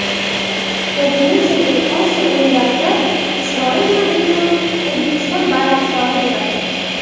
Indoneziyadagi Osiyo o‘yinlarida Isroil Madrimov O‘zbekiston bayroqdori bo‘ladi.